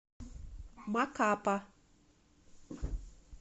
макапа